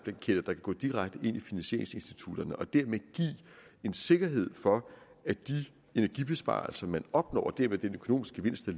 kan gå direkte ind i finansieringsinstitutterne og derved give en sikkerhed for at de energibesparelser man opnår og dermed den økonomiske gevinst